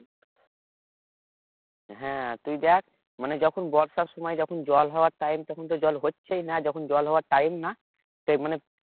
হ্যাঁ তুই দেখ মানে যখন বর্ষার সময় যখন জল হওয়ার time তখনতো জল হচ্ছেই না যখন জল হওয়ার time না সেই মানে